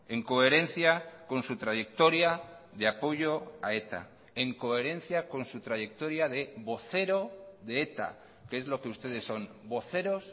en coherencia con su trayectoria de apoyo a eta en coherencia con su trayectoria de vocero de eta que es lo que ustedes son voceros